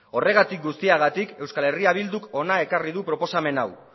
horregatik guztiagatik eh bilduk hona ekarri du proposamen hau